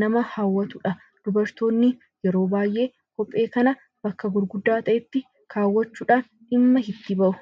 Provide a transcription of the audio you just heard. nama hawwatudha. Dubartoonni kophee kana yeroo baay'ee bakka gurguddaa ta'etti kaawwachuudhaan dhimma itti bahu.